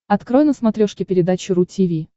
открой на смотрешке передачу ру ти ви